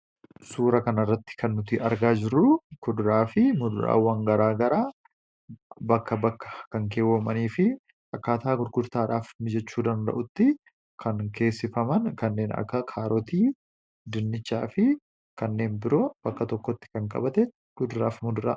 suura kanarratti kannuti argaa jirru kuduraa fi muduraawwan garaa garaa bakka bakka kan keewwoomanii fi akkaataa gurgurtaadhaaf mijechuu danda'utti kan keessifaman kanneen akka kaarootii, dinnichaa fi kanneen biroo bakka tokkotti kan qabate kuduraafi mudura